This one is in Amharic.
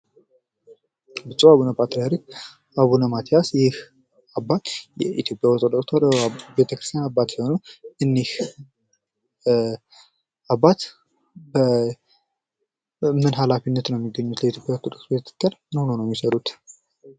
ብጹዕ አቡነ ፓትርያርክ አቡነ ማትያስ ይህ አባት የኢትዮጵያ ኦርቶዶክስ ተዋህዶ ቤተክርስትያን አባት ሲሆኑ እኒህ አባት በእምነት ሃላፊነት ነው የሚገኙት። ከኢትዮጵያ ኦርቶዶክስ ቤተክርስትያን ምን ሆነው ነው የሚሰሩት?